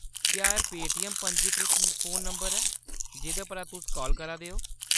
क्या एह्‌‌ पेटीऐम्म-पंजीकृत फोन नंबर ऐ जेह्‌‌‌दे परा तुस काल करा दे ओ ?